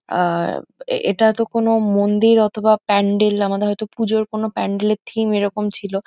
আ-আ এটা তো কোন মন্দির অথবা প্যান্ডেল । আমাদের হয়তো পুজোর কোন প্যান্ডেল এর থিম এরকম ছিল।